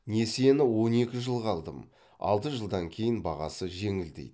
несиені он екі жылға алдым алты жылдан кейін бағасы жеңілдейді